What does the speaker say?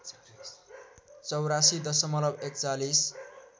८४ दशमलव ४१